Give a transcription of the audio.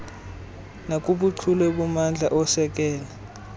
nakubuchule bommandla osekela